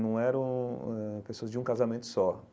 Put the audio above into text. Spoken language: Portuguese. não eram eh pessoas de um casamento só.